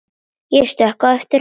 Ég stökk á eftir honum.